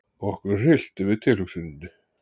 Okkur hryllti við tilhugsuninni.